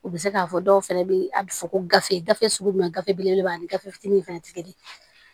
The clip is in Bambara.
U bɛ se k'a fɔ dɔw fana bɛ a bɛ fɔ ko gafe gafe sugu jumɛn gafe belebeleba ani gafe fitinin fana tɛ kelen ye